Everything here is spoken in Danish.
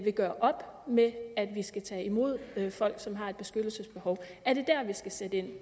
gøre op med at vi skal tage imod folk som har et beskyttelsesbehov er det dér vi skal sætte ind